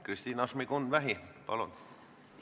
Kristina Šmigun-Vähi, palun!